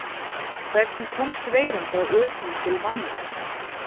Hvernig komst veiran frá öpum til manna?